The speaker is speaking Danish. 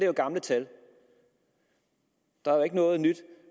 jo gamle tal der er ikke noget nyt